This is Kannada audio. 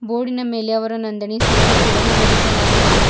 ಬೋರ್ಡಿನ ಮೇಲೆ ಅವರ ನೋಂದಣಿ ಸಂಖ್ಯೆ ಕೂಡ ನಮೂದಿಸಲಾಗಿದೆ.